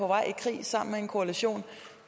vej i krig sammen med en koalition